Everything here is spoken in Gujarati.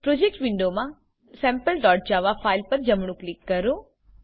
પ્રોજેક્ટ્સ વિન્ડોમા sampleજાવા ફાઈલ પર જમણું ક્લિક કરો